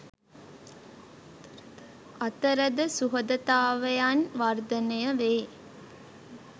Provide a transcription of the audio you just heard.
අතරද සුහදතාවයන් වර්ධනය වේ.